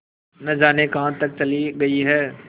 न जाने कहाँ तक चली गई हैं